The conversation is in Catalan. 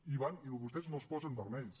i van i vostès no es posen vermells